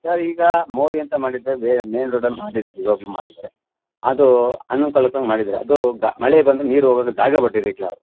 Sir ಈಗ ಮೋರಿ ಅಂತ ಮಾಡಿದ್ದೆ ಮೇನ್ ರೋಡ್ ಅಲ್ಲಿ ಬಂದಿದೆ ಇವಾಗಲು ಮಾಡಿದ್ದಾರೆ ಅದು ಅನುಕೂಲಕ್ಕೆ ಅಂತ ಮಾಡಿದ್ದಾರೆ ಅದು ಮಳೆ ಬಂದ್ರೆ ನೀರು ಹೋಗಕ್ಕೆ ಜಾಗ ಬಿಟ್ಟಿರಕಿಲ್ಲ ಅವರು.